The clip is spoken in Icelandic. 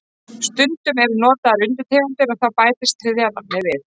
Stundum eru notaðar undirtegundir og þá bætist þriðja nafnið við.